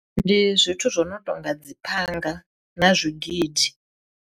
Ndi zwithu zwo no tonga dzi phanga na zwigidi.